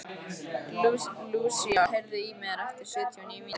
Lúsía, heyrðu í mér eftir sjötíu og níu mínútur.